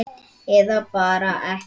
Eða bara ekki, frjálst val.